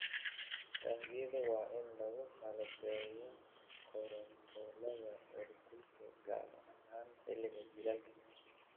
Taangiyada waa in lagu qalabeeyaa kontaroolada heerkulka, gaar ahaan xilliga jiilaalka.